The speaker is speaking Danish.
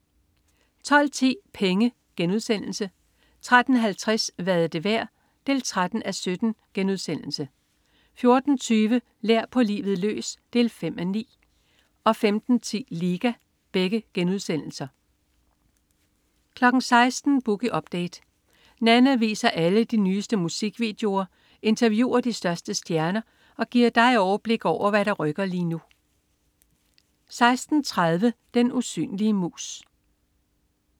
12.10 Penge* 13.50 Hvad er det værd? 13:17* 14.20 Lær på livet løs 5:9* 15.10 Liga* 16.00 Boogie Update. Nanna viser alle de nyeste musikvideoer, interviewer de største stjerner og giver dig overblik over, hvad der rykker lige nu 16.30 Den usynlige mus